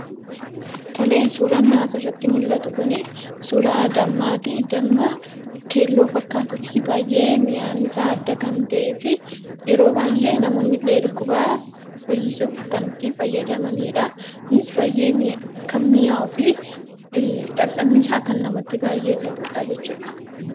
Tole, Suuraan asirratti mul'atu kunii suuraa dammaati. damma keelloo fakkaatu baay'ee mi'aanni isaa adda kan ta'eefi yeroo baay'ee namoonnillee dhukkuba fayyisuuf kan itti fayyadamanidha. innis baay'ee kan mi'aawuu fi dhamdhamni isaa kan namatti toludha jechuudha.